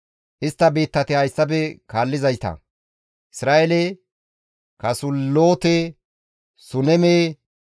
Istta biittati hayssafe kaallizayta; Izra7eele, Kasuloote, Suneme,